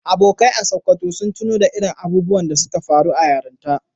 Abokai a Sokoto sun tuno da irin abubuwan da suka faru a yaranta